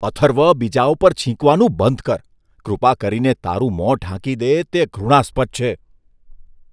અથર્વ બીજાઓ પર છીંકવાનું બંધ કર. કૃપા કરીને તારું મોં ઢાંકી દે. તે ઘૃણાસ્પદ છે.